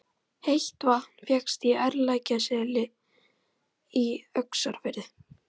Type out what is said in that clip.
Heitt vatn fékkst í Ærlækjarseli í Öxarfirði.